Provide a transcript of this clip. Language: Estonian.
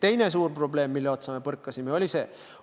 Teine suur probleem, mille otsa me põrkasime, oli järgmine.